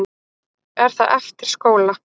Er það eftir skóla?